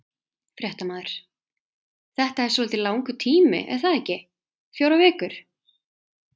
Fréttamaður: Þetta er svolítið langur tími er það ekki, fjórar vikur?